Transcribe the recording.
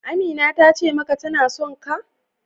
Amina tace maka tana sonka?